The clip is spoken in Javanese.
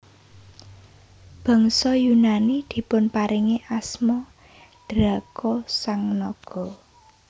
Bangsa Yunani dipunparingi asma Draco sang naga